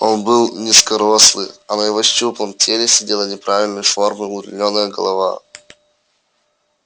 он был низкорослый а на его щуплом теле сидела неправильной формы удлинённая голова